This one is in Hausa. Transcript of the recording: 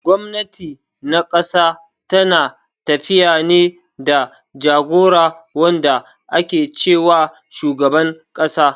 Gwamnati na ƙasa tana tafiya ne da jagora wanda ake ce wa shugaban ƙasa.